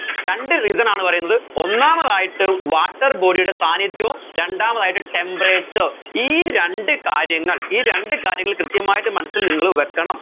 രണ്ട് reason ആണ് പറയുന്നത് ഒന്നാമതായിട്ട് water body യുടെ സാന്നിധ്യവും രണ്ടാമതായിട്ട് temperature ഈ രണ്ട് കാര്യങ്ങൾ ഈ രണ്ട് കാര്യങ്ങൾ കൃത്യമായിട്ട് മനസ്സിൽ നിങ്ങൾ വെക്കണം